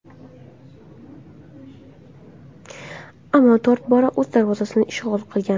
Ammo to‘rt bora o‘z darvozasini ishg‘ol qilgan.